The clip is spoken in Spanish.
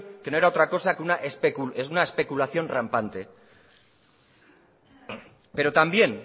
que no era otra cosa que una especulación rampante pero también